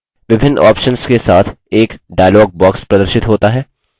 विभिन्न options के साथ एक dialog box प्रदर्शित होता है